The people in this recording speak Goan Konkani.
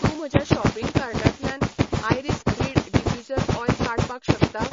तूं म्हज्या शॉपिंग कार्टांतल्यान आयरीस रीड डिफ्यूज़र ऑयल काडपाक शकता?